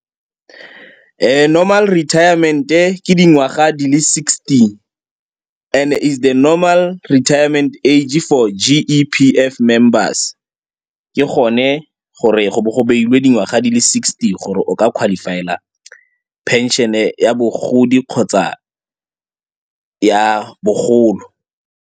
Normal retirement-e ke dingwaga di le sixty and-e it's the normal retirement age-e for G_E_P_F members. Ke gone gore go bo go bailwe dingwaga di le sixty gore o ka qualify-a phenšene ya bogodi kgotsa ya bogolo.